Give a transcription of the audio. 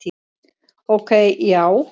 Ok, já?